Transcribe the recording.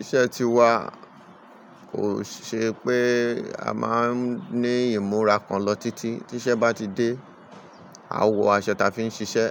Iṣẹ́ ti wa, kò ṣe pé a máa ń ní ìmúra kan lọ títí. Tí iṣẹ́ bá ti dé, a ó wọ aṣọ ta fi ń ṣiṣẹ́,